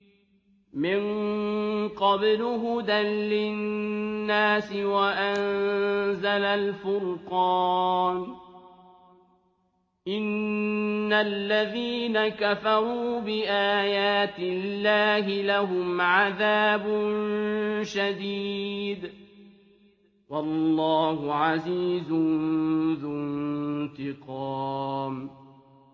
مِن قَبْلُ هُدًى لِّلنَّاسِ وَأَنزَلَ الْفُرْقَانَ ۗ إِنَّ الَّذِينَ كَفَرُوا بِآيَاتِ اللَّهِ لَهُمْ عَذَابٌ شَدِيدٌ ۗ وَاللَّهُ عَزِيزٌ ذُو انتِقَامٍ